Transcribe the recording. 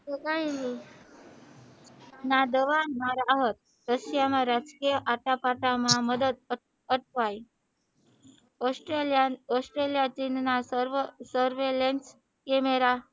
તો કઈ ન ના દવા ના રાહત રશિયા માં મદદ અટવાઈ ઔસ્ટ્રેલીયા ચીન ના સર્વે લઈન કેમેરા